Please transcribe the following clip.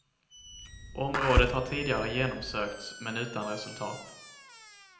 Området har tidigare genomsökts men utan resultat.